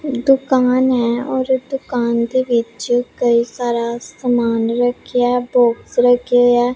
ਦੁਕਾਨ ਹੈ ਔਰ ਦੁਕਾਨ ਦੇ ਵਿੱਚ ਕਈ ਸਾਰਾ ਸਮਾਨ ਰੱਖਿਆ ਬੌਕਸ ਰੱਖੇ ਐ।